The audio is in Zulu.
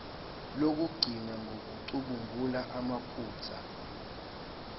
lokugcina ngokucubungula amaphutha